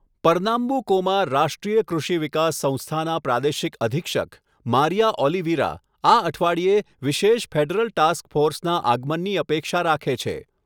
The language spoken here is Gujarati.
પરનામ્બુકોમાં રાષ્ટ્રીય કૃષિ વિકાસ સંસ્થાના પ્રાદેશિક અધિક્ષક, મારિયા ઓલિવિરા, આ અઠવાડિયે વિશેષ ફેડરલ ટાસ્ક ફોર્સના આગમનની અપેક્ષા રાખે છે.